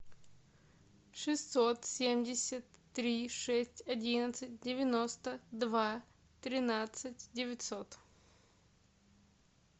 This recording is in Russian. шестьсот семьдесят три шесть одиннадцать девяносто два тринадцать девятьсот